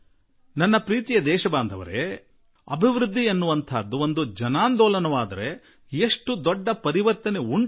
ನನ್ನೊಲವಿನ ದೇಶವಾಸಿಗಳೇ ಅಭಿವೃದ್ಧಿಯು ಜನಾಂದೋಲನವಾಗಿ ಮಾರ್ಪಟ್ಟಾಗ ಅದೆಂತಹ ದೊಡ್ಡ ಪರಿವರ್ತನೆ ಉಂಟಾಗುತ್ತದೆ